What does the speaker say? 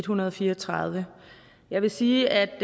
hundrede og fire og tredive jeg vil sige at